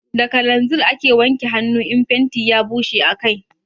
Da kananzir ake wanke hanu in fenti ya bushe a kai